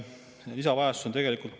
Lisarahastus on vajalik.